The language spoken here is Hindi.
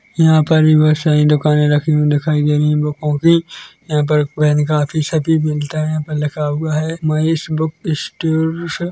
यहाँ पर भी बहोत सारी दुकानें रखी हुई दिखाई दे रही है बुक कॉपी यहाँ पर पेन कॉपी सभी मिलता है यहाँ पर लिखा हुआ है महेश बुक स्टोर्स --